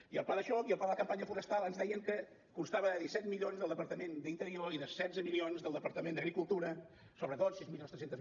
i el pla de xoc i el pla de la campanya forestal ens deien que constava de disset milions del departament d’interior i de setze milions del departament d’agricultura sobretot sis mil tres cents